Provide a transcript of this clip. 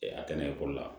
a tɛ na ekɔli la